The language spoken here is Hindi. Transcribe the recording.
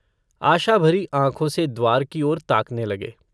आशा भरी आँखो से द्वार की ओर ताकने लगे।